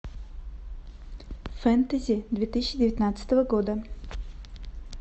фэнтези две тысячи девятнадцатого года